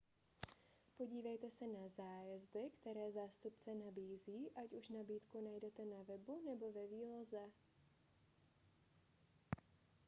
podívejte se na zájezdy které zástupce nabízí ať už nabídku najdete na webu nebo ve výloze